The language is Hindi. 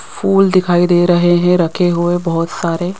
फूल दिखाई दे रहे हैं रखे हुए बहुत सारे।